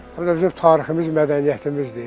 Həm də bizim tariximiz, mədəniyyətimizdir.